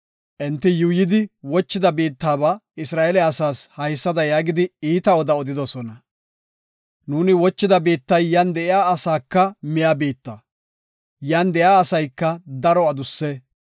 Enti yuuyidi wochida biittaba Isra7eele asaas haysada yaagidi iita oda odidosona. “Nuuni wochida biittay yan de7iya asaaka miya biitta; yan de7iya asayka daro adusse.